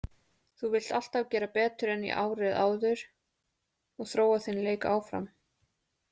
Þú vilt alltaf gera betur en í árið áður og þróa þinn leik áfram.